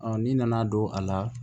n'i nana don a la